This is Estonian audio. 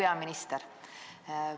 Hea peaminister!